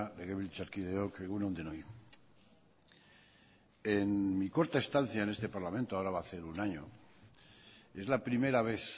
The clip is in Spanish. legebiltzarkideok egun on denoi en mi corta estancia en este parlamento ahora va a hacer un año es la primera vez